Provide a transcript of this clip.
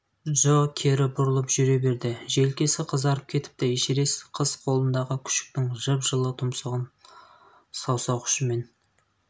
джо кері бұрылып жүре берді желкесі қызарып кетіпті эшерест қыз қолындағы күшіктің жып-жылы тұмсығын саусақ ұшымен